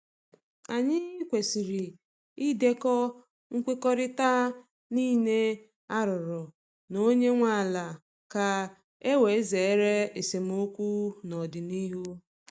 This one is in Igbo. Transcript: Anyị kwesịrị idekọ nkwekọrịta niile a rụrụ na onye nwe ala ka e wee zere esemokwu n’ọdịnihu.